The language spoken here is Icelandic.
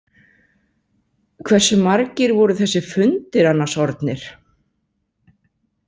Hversu margir voru þessir fundir annars orðnir?